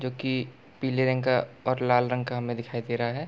जो की पीले रंग का और लाल रंग का हमें दिखाई दे रहा है |